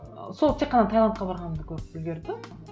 ыыы сол тек қана таиландқа барғанымды көріп үлгерді